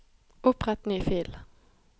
Opprett ny fil